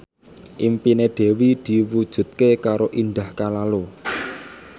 impine Dewi diwujudke karo Indah Kalalo